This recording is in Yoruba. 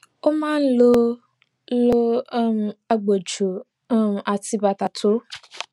ó máa ń lo ń lo um agbòjò um àti bàtà tó